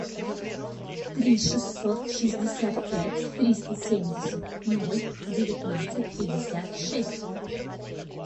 три шестьсот шестьдесят пять триста семьдесят ноль девятнадцать пятьдесят шесть